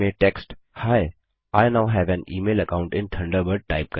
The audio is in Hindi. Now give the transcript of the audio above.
मेल में टेक्स्ट ही I now have an email account in Thunderbird